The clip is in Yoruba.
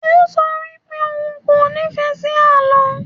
O sọ wipe òun kò nífẹ́ sí àlọ́.